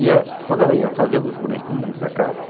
E a quando ela ia fazendo os bonequinhos da casca,